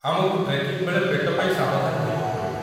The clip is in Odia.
ଆମକୁ ଟ୍ରେକିଂ ବେଳେ ପେଟ ପାଇଁ ସାବଧାନ ରହିବାକୁ ପଡ଼ିବ।